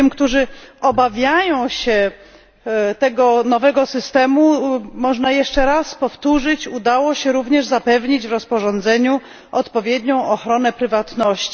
Tym, którzy obawiają się tego nowego systemu, można jeszcze raz powtórzyć, że udało się także zapewnić w rozporządzeniu odpowiednią ochronę prywatności.